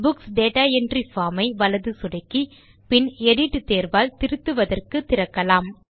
books data entry form ஐ வலது சொடுக்கி பின் எடிட் தேர்வால் திருத்துவதற்கு திறக்கலாம்